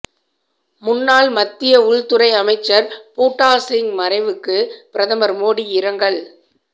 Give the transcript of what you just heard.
முன்னாள் மத்திய உள்துறை அமைச்சர் பூட்டா சிங் மறைவுக்கு பிரதமர் மோடி இரங்கல்